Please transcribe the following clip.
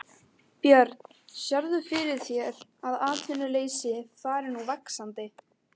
Björn: Sérðu fyrir þér að atvinnuleysi fari nú vaxandi?